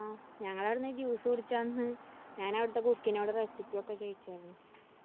ഞങ്ങളവിടുന്ന് juice കുടിച്ച അന്ന് ഞാനവിടുത്തെ cook നോട് recipe ഒക്കെ ചോയ്ചാര്‍ന്നു.